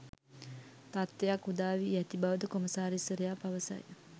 තත්වයක් උදාවී ඇති බවද කොමසාරිස්වරයා පවසයි.